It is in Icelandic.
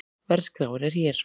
Verðskráin er hér